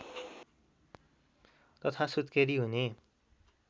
तथा सुत्केरी हुने